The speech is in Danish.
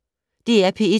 DR P1